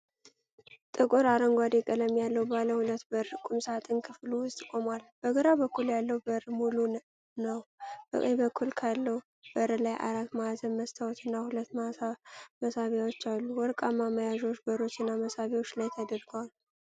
ጥቁር አረንጓዴ ቀለም ያለው ባለ ሁለት በር ቁምሳጥን ክፍሉ ውስጥ ቆሟል። በግራ በኩል ያለው በር ሙሉ ነው፣ በቀኝ በኩል ካለው በር ላይ አራት ማዕዘን መስታወትና ሁለት መሳቢያዎች አሉ። ወርቃማ መያዣዎች በሮችና መሳቢያዎች ላይ ተደርገዋል።